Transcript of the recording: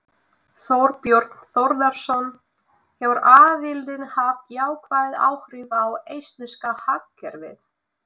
Þorbjörn Þórðarson: Hefur aðildin haft jákvæð áhrif á eistneska hagkerfið?